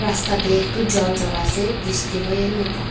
রাস্তাতে একতু জলজর আছে বৃষ্টি হয়ের মত।